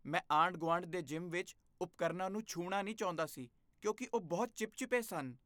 ਮੈਂ ਆਂਢ ਗੁਆਂਢ ਦੇ ਜਿਮ ਵਿੱਚ ਉਪਕਰਨ ਾਂ ਨੂੰ ਛੂਹਣਾ ਨਹੀਂ ਚਾਹੁੰਦਾ ਸੀ ਕਿਉਂਕਿ ਉਹ ਬਹੁਤ ਚਿਪ ਚਿਪੇ ਸਨ